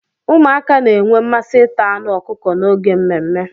Ụmụaka na-enwe mmasị ita anụ ọkụkọ n'oge mmemme.